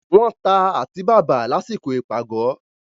wọ́n ta àtíbàbà lásìkò ìpàgọ́.